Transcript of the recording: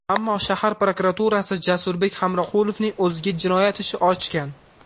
Ammo shahar prokuraturasi Jasurbek Hamroqulovning o‘ziga jinoyat ishi ochgan.